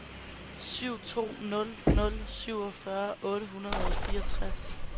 syv to nul nul syvogfyrre otte hundrede og fireogtres